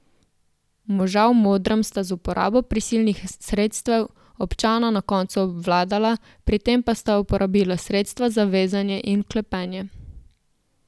Moža v modrem sta z uporabo prisilnih sredstev občana na koncu obvladala, pri tem pa sta uporabila sredstva za vezanje in vklepanje.